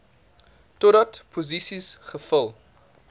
totdat posisies gevul